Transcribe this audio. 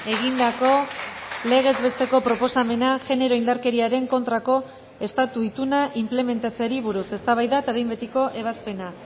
egindako legez besteko proposamena genero indarkeriaren kontrako estatu ituna inplementatzeari buruz eztabaida eta behin betiko ebazpena